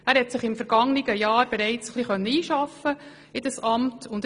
Er konnte sich im vergangenen Jahr bereits etwas in das Amt einarbeiten.